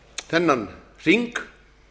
þennan hring